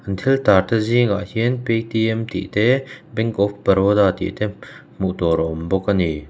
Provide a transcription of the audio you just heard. an thil tarte zingah hian paytm tih te bank of baroda tih te hmuh tur a awm bawk a ni.